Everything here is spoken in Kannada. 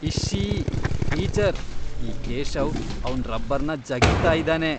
ಇಶ್ಶೀ! ಟೀಚರ್, ಈ ಕೇಶವ್ ಅವ್ನ್ ರಬ್ಬರ್ನ ಜಗೀತಾ ಇದಾನೆ.